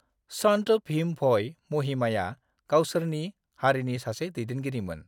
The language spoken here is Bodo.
संत भीम भोई महिमाया गावसोरनि हारिनि सासे दैदेनगिरिमोन।